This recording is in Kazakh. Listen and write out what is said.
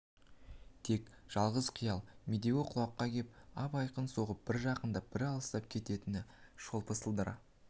тек жалғыз қиял медеуі құлаққа кеп ап-айқын соғып бір жақындап бір алыстап кететін шолпы сылдыры